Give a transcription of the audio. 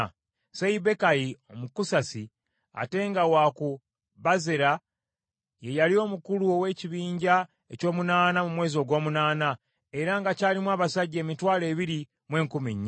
Seibbekayi Omukusasi, ate nga wa ku Bazera ye yali omukulu ow’ekibinja eky’omunaana mu mwezi ogw’omunaana, era kyalimu abasajja emitwalo ebiri mu enkumi nnya.